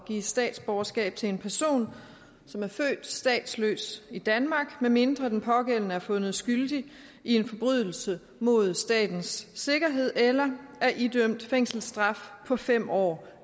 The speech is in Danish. give statsborgerskab til en person som er født statsløs i danmark medmindre den pågældende er fundet skyldig i en forbrydelse mod statens sikkerhed eller er idømt fængselsstraf på fem år